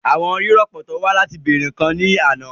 Àwọn rìpọ́tà wá láti wá bèèrè àwọn ǹkan ní àná